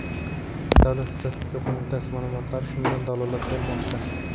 Davlat statistika qo‘mitasi ma’lumotlari shundan dalolat bermoqda .